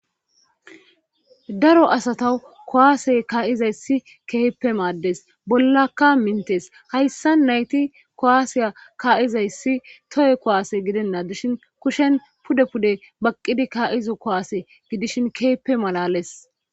daro asata kuwaase kaa'izayssi keeheppe maaddes bollakka mintes hayssa nayti kuwaasiya kaa'zayssi toye kuwaase gidena dishin kushen pude pude baqqidi ka'za kuwaase gidishin keheppe malalees